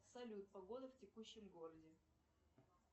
салют погода в текущем городе